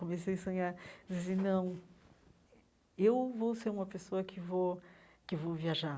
Comecei a sonhar, a dizer, não, eh eu vou ser uma pessoa que vou que vou viajar.